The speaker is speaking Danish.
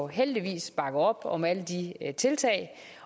heldigvis bakker op om alle de tiltag